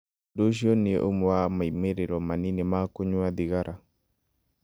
Ũndũ ũcio nĩ ũmwe wa moimĩrĩro manini ma kũnyua thigara.